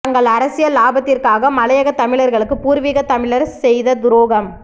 தங்கள் அரசியல் லாபத்திற்காக மலையக தமிழர்களுக்கு பூர்விக தமிழர் செய்த துரோகம்